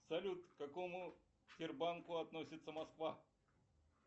салют к какому сбербанку относится москва